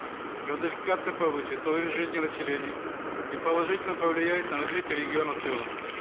газификация повысит уровень жизни населения и положительно повлияет на развитие региона в целом